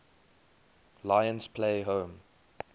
lions play home